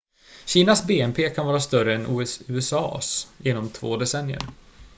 kinas bnp kan vara större än usa:s inom två decennier